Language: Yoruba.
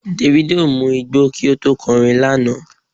Davido mu igbó kí ó tó kọ orin lánàá.